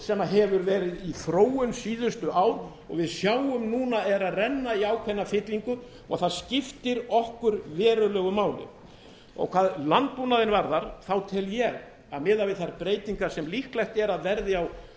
sem hefur verið í þróun síðustu ár og við sjáum núna að eru að renna í ákveðna fyllingu og það skiptir okkur verulegu máli hvað landbúnaðinn varðar tel ég að miðað við þær breytingar sem líklegt er að verði á